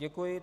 Děkuji.